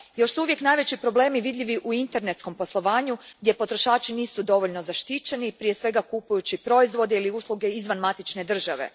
Još uvijek su najveći problemi vidljivi u internetskom poslovanju gdje potrošači nisu dovoljno zaštićeni, prije svega kupujući proizvode ili usluge izvan matične države.